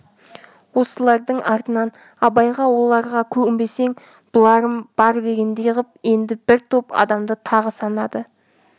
осылардың артынан абайға оларға көнбесең бұларым бар дегендей ғып енді бір топ адамды тағы санады